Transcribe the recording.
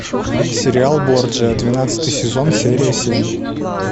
сериал борджиа двенадцатый сезон серия семь